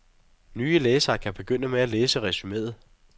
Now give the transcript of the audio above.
Nye læsere kan begynde med at læse resumeet.